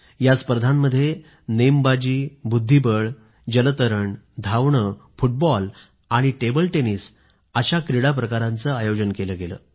या स्पर्धेत नेमबाजी बुद्धिबळ जलतरण धावणे फुटबॉल आणि टेबल टेनिस अशा स्पर्धांचे आयोजन केले गेले